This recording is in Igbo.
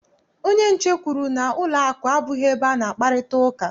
Onye nche kwuru na ụlọakụ abụghị ebe a na-akparịta ụka.